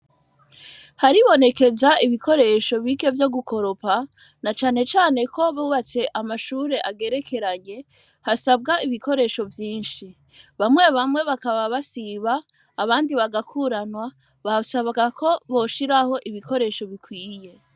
Haribonekeza ibikoresho birya vyo gukoropa, na cane cane ko bubatse amashure agerekeranye hasabwa ibikoresho vyinshi, bamwe bamwe bakaba basiba, abandi bagakuranwa, basabwa ko boshiraho ibikoresho bikwiye.